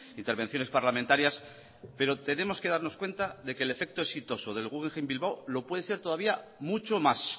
intervenciones parlamentarias pero tenemos que darnos que darnos cuenta de que el efecto exitoso del guggenheim bilbao lo puede ser todavía mucho más